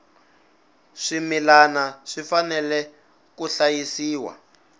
swimilana swi fanele swi hlayisiwa